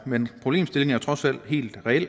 men problemstillingen er jo trods alt helt reel